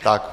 Tak.